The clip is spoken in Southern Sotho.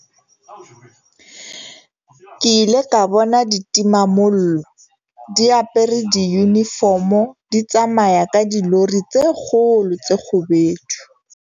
Ke ile ka bona ditimamollo di apare diyunifomo di tsamaya ka dilori tse kgolo tse kgubedu.